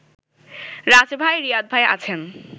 রাজভাই , রিয়াদভাই আছেন